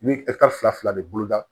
I bɛ fila de bolo da